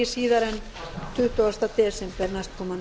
síðar en tuttugasta desember næstkomandi